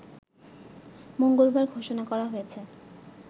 মঙ্গলবার ঘোষণা করা হয়েছে